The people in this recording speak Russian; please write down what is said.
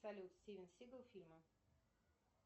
салют стивен сигал фильмы